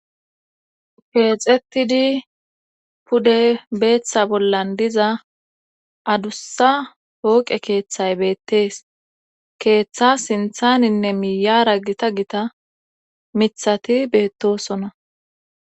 Keexetidi pude beeththa bollan diza adussa hooqe keeththay beettees keeththa sinthaninne miyara gita gita mithati beettosona